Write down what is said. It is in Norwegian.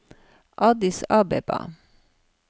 Addis Abeba